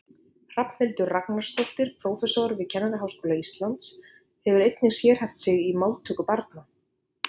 Hrafnhildur Ragnarsdóttir prófessor við Kennaraháskóla Íslands hefur einnig sérhæft sig í máltöku barna.